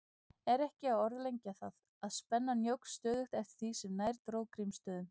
Er ekki að orðlengja það, að spennan jókst stöðugt eftir því sem nær dró Grímsstöðum.